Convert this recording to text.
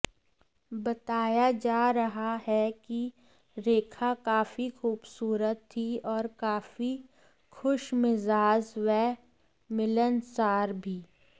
बताया जा रहा है कि रेखा काफी ख़ूबसूरत थी और काफी ख़ुशमिजाज़ व मिलनसार भी